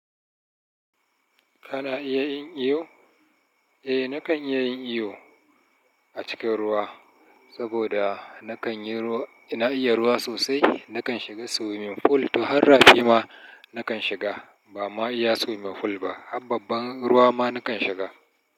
Kana iya yin iyo? Eh, nakan iya yin iyo a cikin ruwa saboda nakan yi ruwa, ina iya ruwa sosai. Nakan shiga swimming pool. To har rafi ma nakan shiga. Ba ma iya swimming pool ba, har babban ruwa ma nakan shiga.